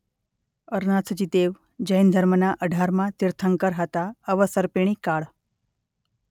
અરનાથજી દેવ જૈન ધર્મના અઢારમાં તીર્થંકર હતા અવસર્પિણી કાળ .